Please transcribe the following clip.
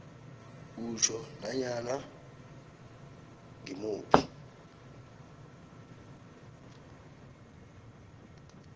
utjho nanyana ngimuphi